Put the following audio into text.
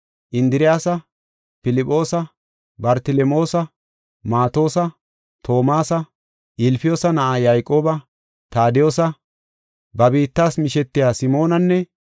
Indiriyasa, Filphoosa, Bartelemoosa, Maatosa, Toomasa, Ilfiyoosa na7a Yayqooba, Taadiyosa, ba biittas mishetiya Simoonanne,